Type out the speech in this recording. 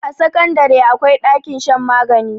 a sakandare akwai ɗakin shan magani